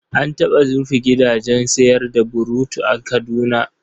An taɓa rufe gidajen sayar da burutu a Kaduna.